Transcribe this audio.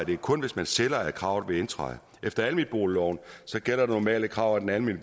det er kun hvis man sælger at kravet vil indtræde efter almenboligloven gælder det normale krav at den almene